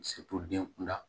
den kunda